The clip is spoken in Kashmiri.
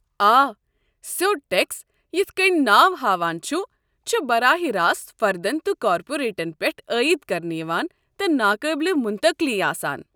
آ، سیوٚد ٹٮ۪کس، یتھ کٔنہِ کٔنۍ ناو ہاوان چھُ ،چھِ براہ راست فردن تہٕ كاپوریٹن پٮ۪ٹھ عٲید كرنہٕ یوان تہٕ ناقٲبلہِ منتقلی آسان۔